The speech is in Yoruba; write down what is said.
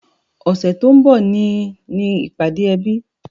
Ọ̀sẹ̀ tó ń bọ̀ ni ní ìpàdé ẹbí